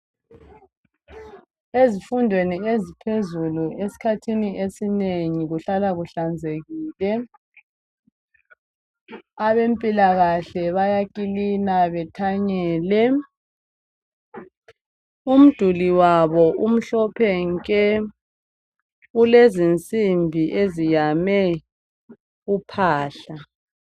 Ezifundweni eziphezulu esikhathini esinengi kuhlala kuhlanzekile. Abempilakahle bayakilina bethanyele. Umduli wabo umhlophe nke, ulezinsimbi eziyame uphahla.